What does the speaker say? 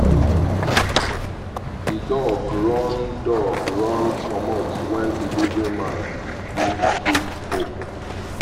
the dog run dog run comot when delivery man leave gate open